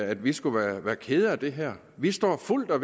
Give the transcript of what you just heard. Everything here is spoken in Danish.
at vi skulle være være kede af det her vi står fuldt og